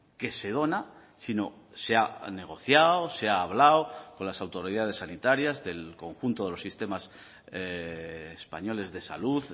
que se dona sino se ha negociado se ha hablado con las autoridades sanitarias del conjunto de los sistemas españoles de salud